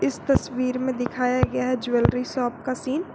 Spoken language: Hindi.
इस तस्वीर में दिखाया गया है ज्वेलरी शॉप का सीन ।